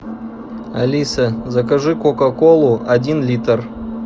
алиса закажи кока колу один литр